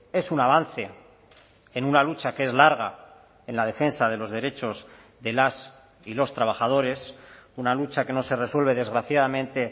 es un avance en una lucha que es larga en la defensa de los derechos de las y los trabajadores una lucha que no se resuelve desgraciadamente